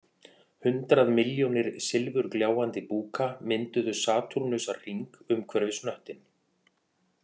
Hundrað milljónir silfurgljáandi búka mynduðu satúrnusarhring umhverfis hnöttinn